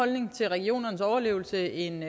holdning til regionernes overlevelse end